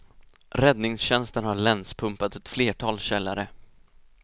Räddningstjänsten har länspumpat ett flertal källare.